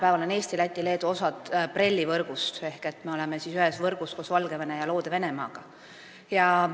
Praegu on Eesti, Läti ja Leedu osa BRELL-i võrgust ehk me oleme ühes võrgus koos Valgevene ja Loode-Venemaaga.